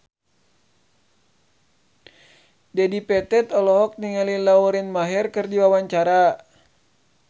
Dedi Petet olohok ningali Lauren Maher keur diwawancara